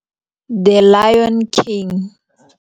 The Lion King.